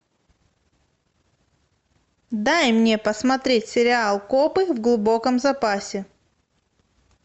дай мне посмотреть сериал копы в глубоком запасе